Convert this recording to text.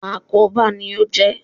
Àkóbá ni ó jẹ́.